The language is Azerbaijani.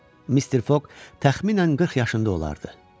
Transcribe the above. Mister Foq təxminən 40 yaşında olardı.